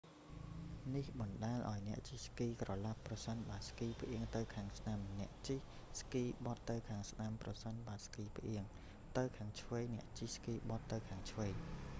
នេះបណ្តាលឱ្យអ្នកជិះស្គីក្រឡាប់ ប្រសិនបើស្គីផ្អៀងទៅខាងស្តាំ អ្នកជិះស្គីបត់ទៅខាងស្តាំ ប្រសិនបើស្គីផ្អៀងទៅខាងឆ្វេងអ្នកជិះស្គីបត់ទៅខាងឆ្វេង